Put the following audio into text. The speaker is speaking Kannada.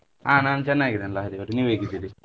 ಆ ನಾನು ಚೆನ್ನಾಗಿದ್ದೇನೆ ಲಹರಿ ಅವ್ರೆ, ನೀವ್ ಹೇಗಿದ್ದೀರಿ?